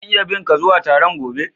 Zan iya bi ka zuwa Taron gobe??